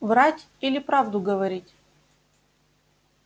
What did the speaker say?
врать или правду говорить